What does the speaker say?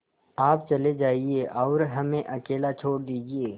आप चले जाइए और हमें अकेला छोड़ दीजिए